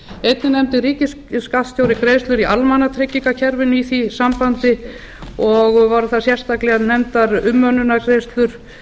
einnig nefndi ríkisskattstjóri greiðslur í almannatryggingakerfinu í því sambandi og voru þar sérstaklega nefndar umönnunargreiðslur